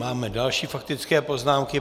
Máme další faktické poznámky.